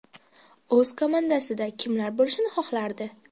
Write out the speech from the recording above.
O‘z komandasida kimlar bo‘lishini xohlardi?